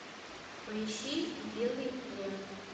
поищи белый плен